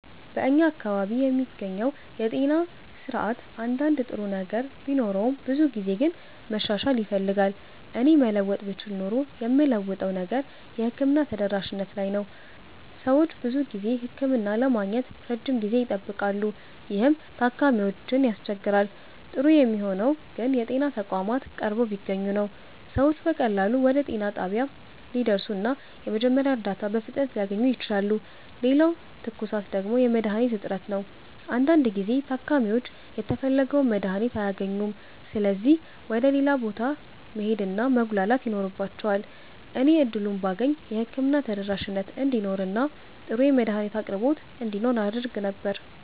በእኛ አካባቢ የሚገኘው የጤና ስርዓት አንዳንድ ጥሩ ነገር ቢኖረውም ብዙው ግን መሻሻል ይፈልጋል። እኔ መለወጥ ብችል ኖሮ የምለውጠው ነገር የሕክምና ተደራሽነት ላይ ነው። ሰዎች ብዙ ጊዜ ህክምና ለማግኘት ረጅም ጊዜ ይጠብቃሉ፣ ይህም ታካሚዎችን ያስቸግራል። ጥሩ የሚሆነው ግን የጤና ተቋማት ቀርበው ቢገኙ ነው። ሰዎች በቀላሉ ወደ ጤና ጣቢያ ሊደርሱ እና የመጀመሪያ እርዳታ በፍጥነት ሊያገኙ ይችላሉ። ሌላው ትኩሳት ደግሞ የመድሀኒት እጥረት ነው። አንዳንድ ጊዜ ታካሚዎች የተፈለገውን መድሀኒት አያገኙም ስለዚህ ወደ ሌላ ቦታ መሄድ እና መጉላላት ይኖርባቸዋል። እኔ እድሉን ባገኝ የህክምና ተደራሽነት እንዲኖር እና ጥሩ የመድሀኒት አቅርቦት እንዲኖር አደርግ ነበር።